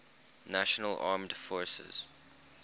national armed forces